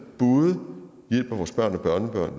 både hjælper vores børn og børnebørn